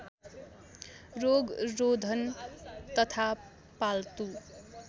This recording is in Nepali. रोगरोधन तथा पाल्तु